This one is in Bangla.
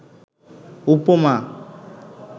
উপমা